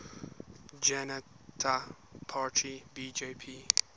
janata party bjp